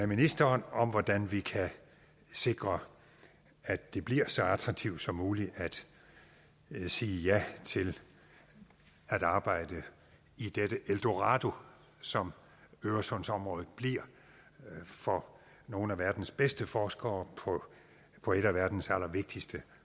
ministeren om hvordan vi kan sikre at det bliver så attraktivt som muligt at sige ja til at arbejde i dette eldorado som øresundsområdet bliver for nogle af verdens bedste forskere på et af verdens allervigtigste